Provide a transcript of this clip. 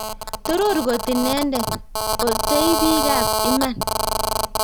Toror kot Inendet - otei bikab iman;